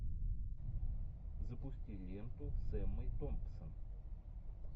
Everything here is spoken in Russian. запусти ленту с эммой томпсон